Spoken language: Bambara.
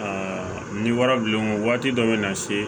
ni wara bilen o waati dɔ bɛ na se